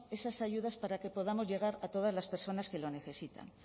estas ayudas para que podamos llegar a todas las personas que la necesitan